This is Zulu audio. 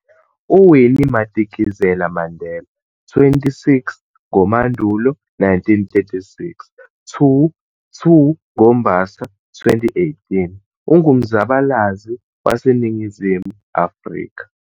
UWinnie Madikizela-Mandela, 26 ngoMandulo 1936 - 2 ngoMbaso 2018, ungumzabalazi waseNingizimu Afrika.